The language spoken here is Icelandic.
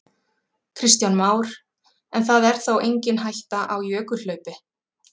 Kristján Már: En það er þá engin hætta á jökulhlaupi?